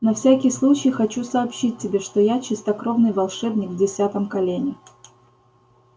на всякий случай хочу сообщить тебе что я чистокровный волшебник в десятом колене